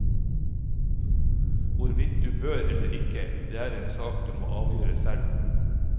Hvorvidt du bør eller ikke, det er en sak du må avgjøre selv.